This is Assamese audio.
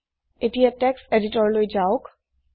এতিয়া টেক্সট এদিতৰলৈ যাওক